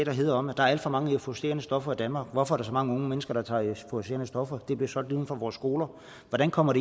handlede om at der er alt for mange euforiserende stoffer i danmark hvorfor er der så mange unge mennesker der tager euforiserende stoffer det bliver solgt lige uden for vores skoler hvordan kommer